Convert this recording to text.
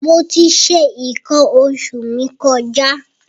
Mo ti ṣe nǹkan oṣù mi kọjá.